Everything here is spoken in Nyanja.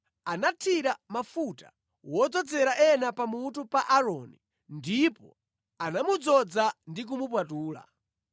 Anathira mafuta wodzozera ena pamutu pa Aaroni ndipo anamudzoza ndi kumupatula.